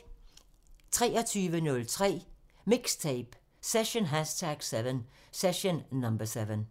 23:03: MIXTAPE – Session #7